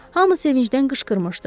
Hamı sevincdən qışqırmışdı.